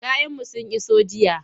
Kayanmu sun iso jiya.